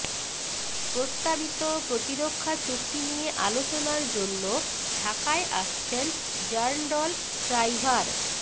প্রস্তাবিত প্রতিরক্ষা চুক্তি নিয়ে আলোচনার জন্য ঢাকায় আসছেন র্যান্ডল শ্রাইভার